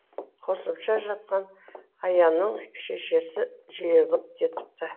қосымша жатқан аянның шекесі жиырылып кетіпті